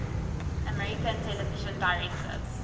american television directors